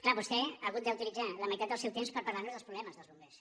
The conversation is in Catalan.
clar vostè ha hagut d’utilitzar la meitat del seu temps per parlar nos dels problemes dels bombers